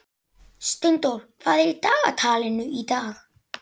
Steindór, hvað er í dagatalinu í dag?